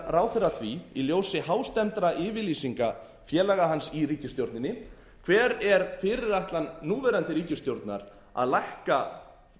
ráðherra að því í ljósi hástemmdra yfirlýsinga félaga hans í ríkisstjórninni hver er fyrirætlan núverandi ríkisstjórnar að lækka